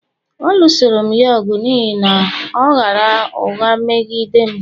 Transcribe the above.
A lụsoru'm ya ọgụ n’ihi na ọ ghaara ụgha meghi dem